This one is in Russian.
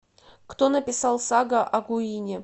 кто написал сага о гуине